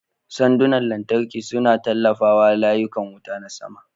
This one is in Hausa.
Sandunan lantarki suna tallafawa layukan wuta na sama.